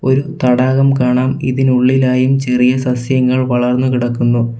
ഒരു തടാകം കാണാം ഇതിനുള്ളിലായും ചെറിയ സസ്യങ്ങൾ വളർന്നു കിടക്കുന്നു.